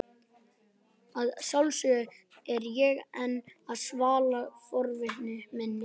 Að sjálfsögðu er ég enn að svala forvitni minni.